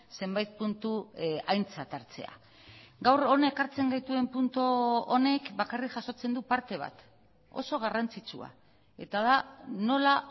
zenbait puntu aintzat hartzea gaur hona ekartzen gaituen puntu honek bakarrik jasotzen du parte bat oso garrantzitsua eta da nola